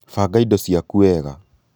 banga ido cĩaku wega